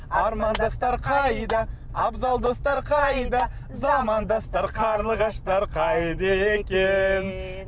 армандастар қайда абзал достар қайда замандастар қарлығаштар қайда екен